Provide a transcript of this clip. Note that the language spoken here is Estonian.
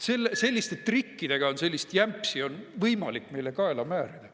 Vaat selliste trikkidega on võimalik sellist jampsi meile kaela määrida.